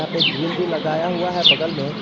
एक ग्रिल भी लगाया हुआ है बगल में।